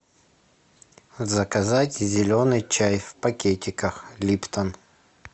заказать зеленый чай в пакетиках липтон